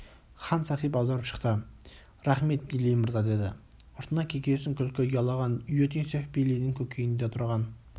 хан сахиб аударып шықты рақмет бейли мырза деді ұртына кекесін күлкі ұялаған иотинцев бейлидің көкейінде тұрған